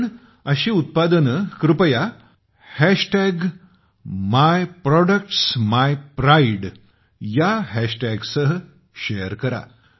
आपण अशी उत्पादने कृपया myproductsmypride ह्या हॅशटॅगसह शेअर करा